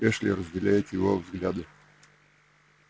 эшли разделяет его взгляды